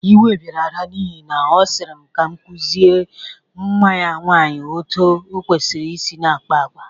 Iwe bịara Ada n'ihi na a sịrị m ka m kụzịre nwa ya nwaanyị otu o kwesiri i na-akpa agwa.